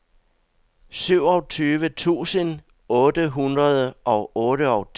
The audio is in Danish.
syvogtyve tusind otte hundrede og otteogtyve